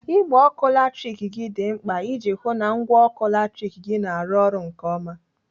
Igbe ọkụ latrik dị mkpa iji hụụ na ngwa ọkụ latrik gị na-arụ ọrụ nke ọma.